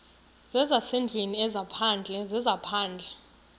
zezasendlwini ezaphandle zezaphandle